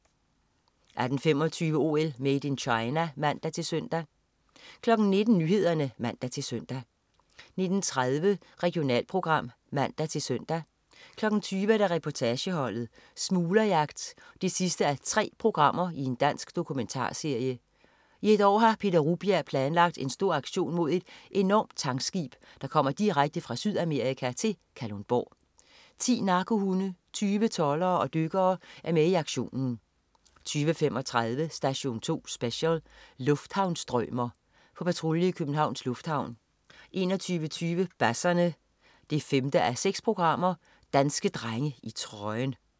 18.25 OL: Made in China (man-søn) 19.00 Nyhederne (man-søn) 19.30 Regionalprogram (man-søn) 20.00 Reportageholdet: Smuglerjagt 3:3. Dansk dokumentarserie. I et år har Peter Rugbjerg planlagt en stor aktion mod et enormt tankskib, der kommer direkte fra Sydamerika til Kalundborg. 10 narkohunde, 20 toldere og dykkere er med i aktionen 20.35 Station 2 Special: Lufthavnsstrømer. På patrulje i Københavns Lufthavn 21.20 Basserne 5:6. Danske drenge i trøjen!